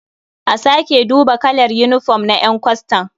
A sake duba kalar yinifom na ƴan kwastan.